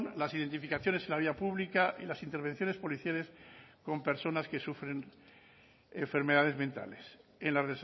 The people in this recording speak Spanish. las identificaciones en la vía pública y las intervenciones policiales con personas que sufren enfermedades mentales en la